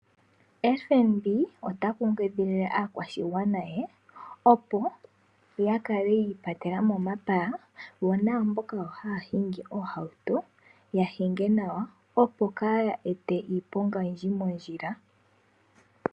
FNB ota kunkilile aantu ye opo ya kale yiipatela mo momapaya yo naamboka haya hingi oohauto ya hinge nawa opo kaya ete iiponga oyindji moondjila.